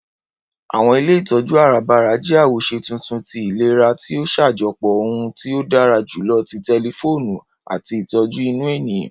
Àwọn ilé ìtọjú arabara jẹ́ awoṣe tuntun tí ìlera ti o ṣajọpọ ohun tí ó dára jùlọ ti tẹlifoonu àti ìtọjú inú ènìyàn.